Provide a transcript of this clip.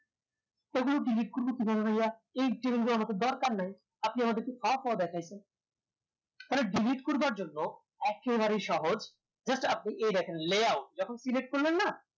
এগুলো করবো কি ভাবে ভাইয়া এই change গুলো আমার তো দরকার নাই আপনি আমাকে দেখাইছেন থালে delete করবার জন্য একেবারে সহজ just আপনি এ দেখেন layout যখন select করবেন না